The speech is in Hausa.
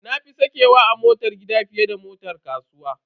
Na fi sakewa a motar gida fiye da motar kasuwa.